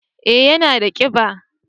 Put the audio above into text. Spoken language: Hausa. eh ya na da kiba